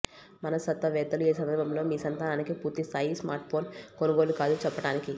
మనస్తత్వవేత్తలు ఏ సందర్భంలో మీ సంతానానికి పూర్తి స్థాయి స్మార్ట్ఫోన్ కొనుగోలు కాదు చెప్పటానికి